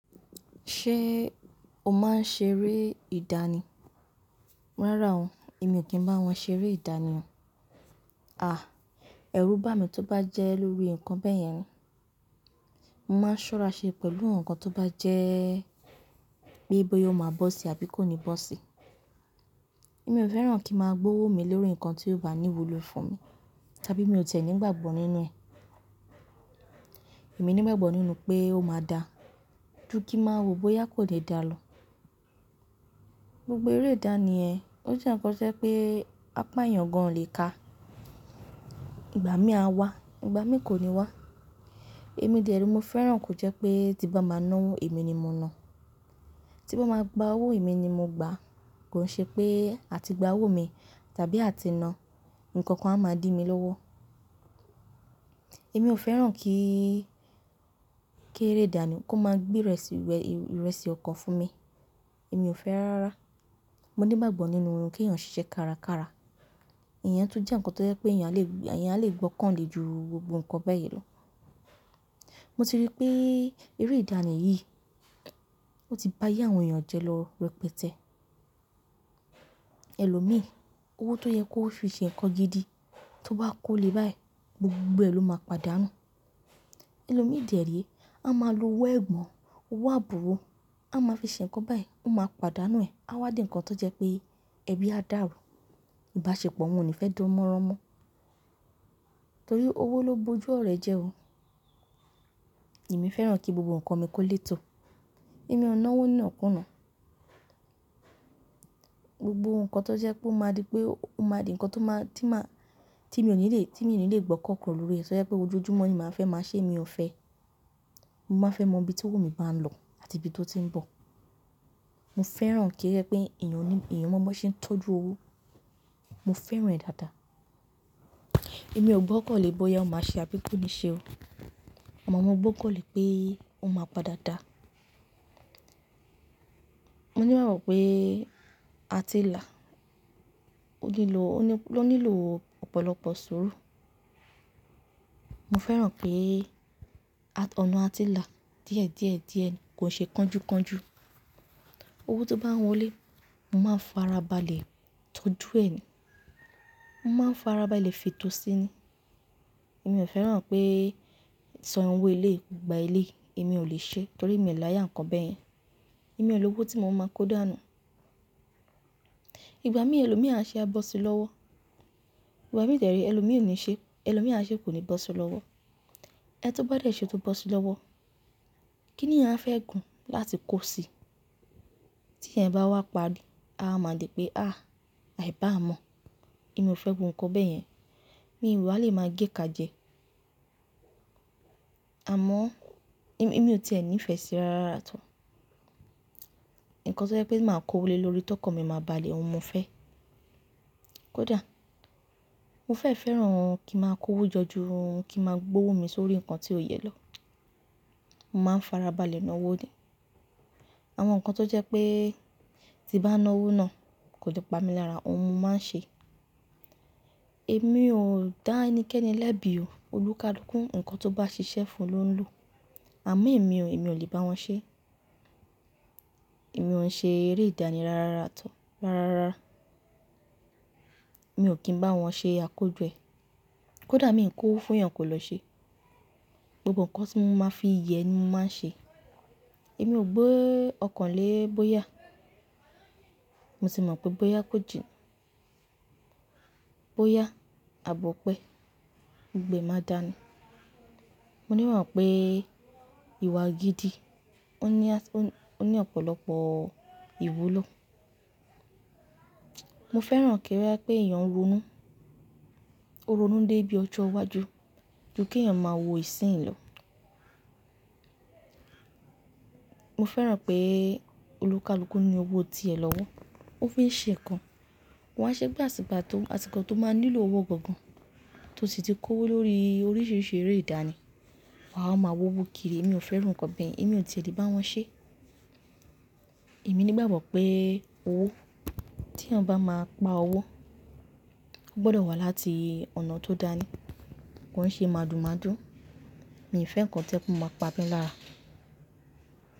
Ṣé o máa ń ṣe eré ìdánì? Rárá o, èmi ò kí ń bá wọn ṣe eré ìdánì o. Àh! Ẹrú bá mi tó bá jẹ́ lórí nǹkan bẹ́ẹ̀ yẹn, mo máa ń ṣọ́ra ṣe pẹ̀lú nǹkan tó bá jẹ́ pé bóyá ó máa bọ́ sí àbí kò ní bọ́ sí. Èmi ò fẹ́ràn kí a máa gbówo mi lórí nǹkan tí yóò bá ní ìwúlò fún mi, tàbí mi ò tẹ̀lé nígbàgbọ́ nínú ẹ̀. Èmi nígbàgbọ́ nínú pé ó máa da, ju kí máa wo bóyá kò lè dá lọ. Gbogbo eré ìdánì ẹ́, ó jẹ́ ǹkan ṣẹ́ pé apá èèyàn gan ò lè ka. Ìgbà mí a wá, ìgbà mí kò ní wá. Ẹ̀ mi dẹ̀ rẹ́ lomi fẹ́ràn kò jẹ́ pé tí bá máa ná owó, èmi ni mo ná. Tí bá máa gba owó, èmi ni mo gba. Kò ń ṣe pé àti gba owó mi tàbí àti ná, nǹkan kan a máa dí mi lọ́wọ́. Èmi ò fẹ́ràn kí, kí eré ìdánì kó máa gbé ìrẹsì ọkọ fún mi. Èmi ò fẹ́ rárá. Mo nígbàgbọ́ nínú kí eyan ṣiṣẹ́ kárakára. Ìyẹn tún jẹ́ ǹkan tó jẹ́ pé èèyàn lè gbọ́ kàn le ju gbogbo nǹkan bẹ́ẹ̀ yẹn lọ. Mo ti rí pé eré ìdánì yìí, ó ti bá yé àwọn èèyàn jẹ lọ rẹpẹtẹ. Ẹ̀lò mí, owó tó yẹ kó fi ṣe ǹkan gidi, tó bá kó lé báyìí, gbogbo bẹ́ẹ̀ ló máa padà nù. Ẹ̀lò mí dẹ̀ ẹ́ rí, a máa lo wé ẹ̀bùn, owó àbùwọ́, a máa fi ṣe ǹkan báyìí, ó máa padà nù ẹ. A wá di ǹkan tó jẹ́ pé ẹbí á dàrú. Ìbáṣepọ̀ wọn ò ní fẹ́ dùn mọ́ran mọ́. Torí owó ló bojú ọ̀rẹ́ jẹ o. Èmi fẹ́ràn kí gbogbo nǹkan mi kó léto. Èmi ò ná owó nínà kú ná. Gbogbo nǹkan tó jẹ́ pé ó máa di pé ó máa di ǹkan tí mo ní lè gbọ́ kàn kọ̀ lórí rẹ̀, tó jẹ́ pé ojoojúmọ́ ni màá fẹ́ máa ṣe, èmi ò fẹ́. Mo máa fẹ́ mọ ibi tí owó mi bá ń lọ àti ibi tó ti ń bọ̀. Mo fẹ́ràn kí ó jẹ́ pé èèyàn mọ bí ṣe ń tọ́jú owó. Mo fẹ́ràn rẹ̀ dáadáa. Èmi ò gbọ́ kàn lè bóyá ó máa ṣe àbí kò ní ṣe o. Ọmọ mi ò gbọ́ kàn lè pé ó máa padà dáa. Mo ní ìbáwo pé atẹ́là ló nílò ọ̀pọ̀lọpọ̀ sùúrù. Mo fẹ́ràn pé ọ̀nà atilà díẹ̀díẹ̀díẹ̀ ni, kò ṣe kánjúkánjú. Owó tó bá ń wọlé, mo máa ń farabalẹ̀ tọ́jú ẹ ni. Mo máa ń farabalẹ̀ fi tó síni. Èmi ò fẹ́ràn pé sọ ẹran wọ ilé, gba ilé, èmi ò lè ṣe, torí èmi ò láyà ǹkan bẹ́ẹ̀ yẹn. Èmi ò lówó tí mo máa mọ́ kó dà nù. Ìgbà mí èèyàn ṣe á bọ́ sí lọ́wọ́. Ìgbà mí dẹ̀ ẹ́ rí èèyàn ṣe kò ní bọ́ sí lọ́wọ́. Ẹ tó bá dẹ̀ ṣe tó bọ́ sí lọ́wọ́, kí ni à ń fẹ́ gùn láti kó sí i? Tí ẹ̀ bá wá parí, a máa di pé, "àh! Àì bá mọ̀." Èmi ò fẹ́ gùn nǹkan bẹ́ẹ̀ yẹn. Mi ò wa lè máa géka jẹ. Àmọ́ èmi ò tẹ́lẹ̀ nífẹ̀ẹ́ sí i rárára tó. Ǹkan tó jẹ́ pé màá kó wọlé lórí tọkọ mi máa bá a le, òun mo fẹ́. Kódà mo fẹ́ fẹ́ràn kí n máa kó owó jọju, kí n máa gbówo mi sórí ǹkan tí ó yẹ lọ. Mo máa ń farabalẹ̀ ná owó ni. Àwọn nǹkan tó jẹ́ pé tí bá ná owó ná kò ni pá mi lára, òun mo máa ń ṣe. Èmi ò dá ẹnikẹ́ni lẹ́bi o. Olúkalúkún, ǹkan tó bá ṣiṣẹ́ fún un ló ń lò. Àmọ́ èmi ò lè bá wọn ṣe. Èmi ò ń ṣe eré ìdánì rárára tó, rárára. Èmi ò kí ń bá wọn ṣe akójọ ẹ. Kódà mi ń kó owó fún èèyàn kò lọ ṣe. Gbogbo nǹkan tí mo máa fi ìyẹ́ ni mo máa ń ṣe. Èmi ò gbé ọkàn lé bóyá. Mo sì mọ̀ pé bóyá kò jìnnà. Bóyá àbọ̀ pé gbogbo ẹ máa dáa ni. Mo ní ìwà pé ìwà gidi ó ní ọ̀pọ̀lọpọ̀ ìwúlò. Mo fẹ́ràn kí ó jẹ́ pé èèyàn ronú. Ó ronú dé ibi ọjọ́ iwájú kí èèyàn máa wo ìsìn lọ. Mo fẹ́ràn pé olúkalúkú ní owó ti ẹ̀ lọ́wọ́. Ó fi ń ṣe ǹkan. Wọn á ṣe gbẹ́ àsìkò tó máa nílò owó gọ̀gọ̀n, tó sì ti kó owó lórí oríṣiríṣi eré ìdánì. Wọn a máa wówo kiri. Èmi ò fẹ́ràn nǹkan bẹ́ẹ̀ yẹn. Èmi ò tẹ́lẹ̀ bá wọn ṣe. Èmi ní ìbáwo pé owó tí èèyàn bá máa pa owó, ó gbọdọ̀ wá láti ọ̀nà tó dáa ni. Kò ń ṣe mádúmádú. Èmi ò fẹ́ nǹkan tí ẹ́ kò máa pa mí lára.